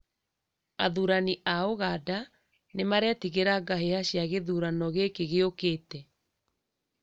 Athirani a ũganda ni maretigĩra ngahĩha cia gĩthurano gĩkĩ gĩũkĩte